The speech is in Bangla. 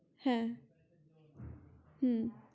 হ্যা হ্যা